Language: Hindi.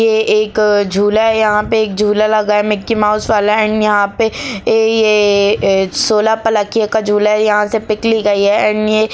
ये एक झूला है यहां पे एक झूला लगा है मिकी माउस वाला एंड यहां पे ए ये सोलह पलखियों का झूला है यहां से पिक ली गई है एंड ये --